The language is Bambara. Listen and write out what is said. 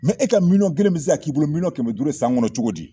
e ka miliyɔn kelen bi se ka k'i bolo miliyɔn kɛmɛ duuru san kɔnɔ cogo di?